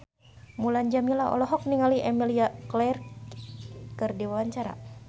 Mulan Jameela olohok ningali Emilia Clarke keur diwawancara